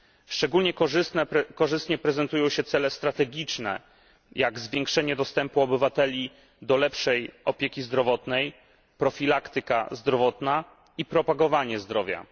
Szczególnie korzystnie prezentują się cele strategiczne, jak zwiększenie dostępu obywateli do lepszej opieki zdrowotnej, profilaktyka zdrowotna i propagowanie zdrowia.